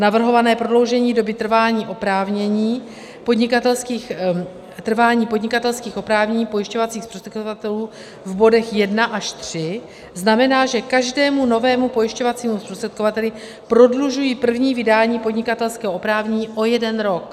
Navrhované prodloužení doby trvání podnikatelských oprávnění pojišťovacích zprostředkovatelů v bodech 1 až 3 znamená, že každému novému pojišťovacímu zprostředkovateli prodlužují první vydání podnikatelského oprávnění o jeden rok.